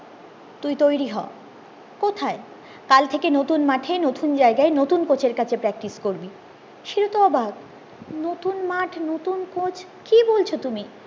তুই তৈরি হ কোথায় কালথেকে নতুন মাঠে নতুন জায়গায় নতুন কোচের কাছে practice করবি শিলু তো অবাক নতুন মাঠ নতুন কোচ কি বলছো তুমি